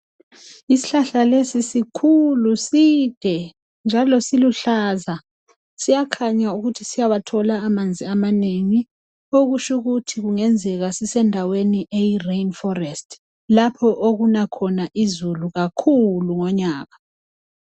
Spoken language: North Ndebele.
Isihlahla lesi sikhulu side njalo siluhlaza siyakhanya ukuthi siyawathola amanzi amangi okutsho ukuthi kungenzeka sisendaweni eyirain forest lapho okuna khona izulu kakhulu ngonyaka.